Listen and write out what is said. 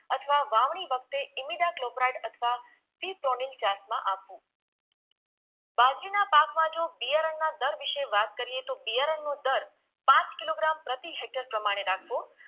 અથવા વાવણી વખતે ઈમીડા ક્લોપ્રાઈટ અથવા વિપ્રોનીન જાતમાં આપવું બાજરીના પાકમાં જો બિયારણના દર વિશે વાત કરીએ તો બિયારણનો દર પાંંચ કિલોગ્રામ પ્રતિ હેક્ટર પ્રમાણે નાખવો